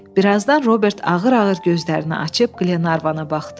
Birazdan Robert ağır-ağır gözlərini açıb Qlenarvana baxdı.